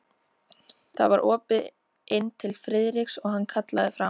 Það var opið inn til Friðriks og hann kallaði fram